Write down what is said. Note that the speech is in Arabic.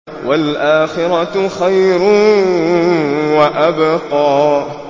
وَالْآخِرَةُ خَيْرٌ وَأَبْقَىٰ